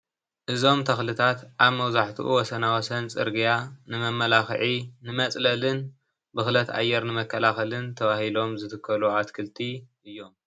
እዞም ተክልታት አብ መብዛሕቲኡ ኣብ ወሰናወሰን ፅርግያ ንምምላክዕን ንመፅለልን ብክለት አየር ንመከላለልን ተባሂሎም ዝትከሉ አትክልቲ እዮም፡፡